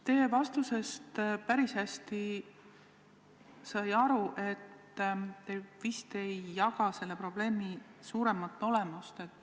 Teie vastusest sai päris hästi aru, et te vist ei mõista selle probleemi põhiolemust.